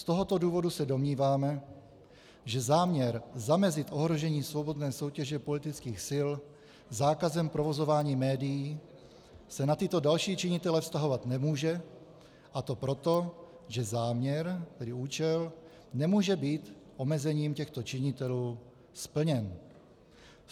Z tohoto důvodu se domníváme, že záměr zamezit ohrožení svobodné soutěže politických sil zákazem provozování médií se na tyto další činitele vztahovat nemůže, a to proto, že záměr, tedy účel, nemůže být omezením těchto činitelů splněn.